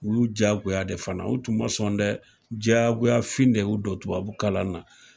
U y'u jagoya de fana, u tun ma sɔn dɛ jagoyafin de y'u don tubabu kalan na.